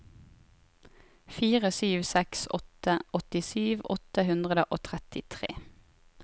fire sju seks åtte åttisju åtte hundre og trettitre